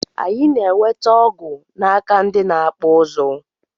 Anyi na enwete ọgụ naka ndi na akpụ ụzụ.